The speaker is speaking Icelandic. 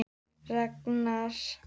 Ragnar